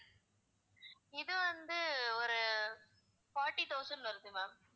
இது வந்து ஒரு forty thousand வருது ma'am